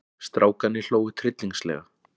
Strákarnir hlógu tryllingslega.